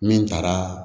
Min taara